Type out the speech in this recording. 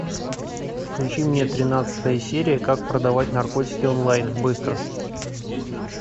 включи мне тринадцатая серия как продавать наркотики онлайн быстро